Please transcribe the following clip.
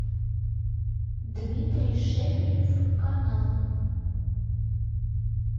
дмитрий шепелев канал